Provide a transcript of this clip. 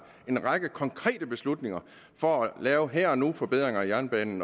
en række konkrete beslutninger for at lave her og nu forbedringer af jernbanen